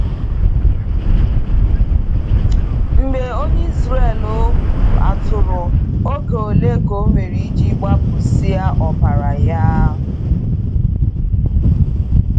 Mgbe onye Israel gburu atụrụ, Oge ole ka ọ nwere iji gbapụsia ọbara ya?